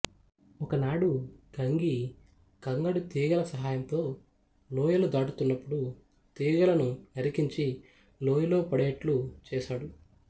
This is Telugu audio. ఒకనాడు కంగి కంగడు తీగల సహాయంతో లోయలు దాటుతున్నపుడు తీగలను నరికించి లోయలో పడేట్లు చేసాడు